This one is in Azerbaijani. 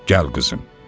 Gəl qızım.